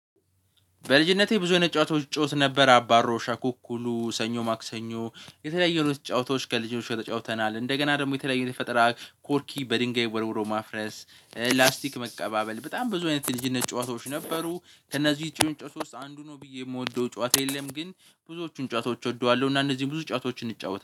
በልጅነቴ ብዙ አይነት ጨዋታዎች ጨዋታ ነበር አባሮ አኩኩሉ ሰኞ ማክሰኞ የተለያየ ነው ጨዋታዎች ከልጆቹ ጨዋታዎች ተጫውተናል። እንደገና ደግሞ የተለየ የተፈጠራ ኮርኪ በድንጋይ ወርውሮ ማፍረስ ላስቲክ መቀባበል በጣም ብዙ አይነት ልጅነት ጨዋታዎች ነበሩ። ከእነዚህ ትንጭት ውስጥ አንዱ ነው ብዬ የምወደው ጨዋታ የለም ግን ብዙዎቹን ጨዋታዎች ወደዋለሁ እና እነዚህ ብዙ ጨዋታዎችን እንጫወታለን